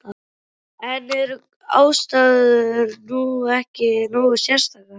En eru aðstæður nú ekki nógu sérstakar?